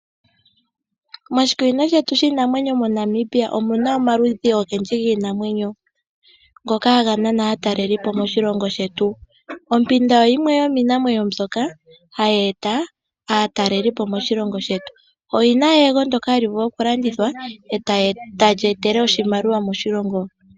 Moshikunino shetu shiinamwenyo moNamibia omuna omaludhi ogendji giinamwenyo mbyoka hayi nana aatalelipo moshilongo shetu. Ompanda oyo yimwe yomiinamwenyo mbyoka hayeeta aatalelipo moshilongo shetu. Oyina eyego ndyoka hali vulu okulandithwa eta li etele oshimaliwa moshilongo.